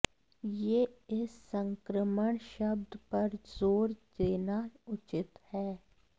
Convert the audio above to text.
यह इस संक्रमण शब्द पर जोर देना उचित है